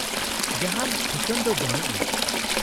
-ᱡᱟᱦᱟᱸᱱ ᱴᱷᱤᱠᱟᱹᱱ ᱫᱚ ᱵᱟᱱᱩᱜᱼᱟ ᱾